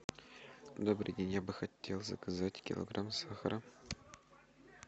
добрый день я бы хотел заказать килограмм сахара